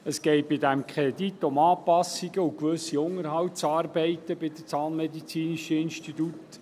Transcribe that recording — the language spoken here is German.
Es geht bei diesem Kredit um Anpassungen und gewisse Unterhaltsarbeiten beim Zahnmedizinischen Institut.